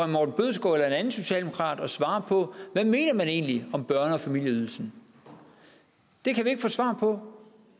morten bødskov eller en anden socialdemokrat at svare på hvad man egentlig om børnefamilieydelsen vi kan ikke få svar på